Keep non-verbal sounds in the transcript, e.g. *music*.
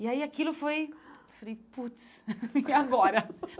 E aí aquilo foi... Falei, putz, *laughs* e agora?